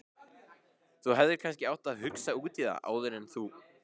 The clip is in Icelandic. Þú hefðir kannski átt að hugsa út í það áður en þú.